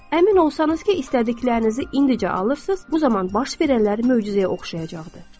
Əmin olsanız ki, istədiklərinizi indicə alırsınız, bu zaman baş verənlər möcüzəyə oxşayacaqdır.